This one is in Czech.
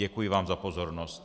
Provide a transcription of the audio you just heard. Děkuji vám za pozornost.